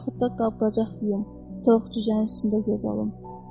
Yaxud da qab-qacaq yuyum, toyuq cüzənin üstündə göz alım.